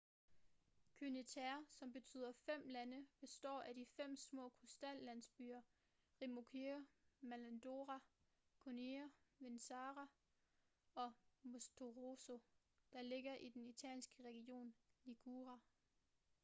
cinque terre som betyder fem lande består af de fem små kystlandsbyer riomaggiore manarola corniglia vernazza og monterosso der ligger i den italienske region liguria